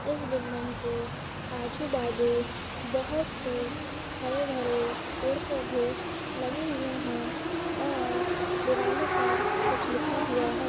इस बिल्डिंग के आजु-बाजु बहोत से हरे-भरे पेड़ पौधे लगे हुए है और दिवालो पर कुछ लिखा हुआ है।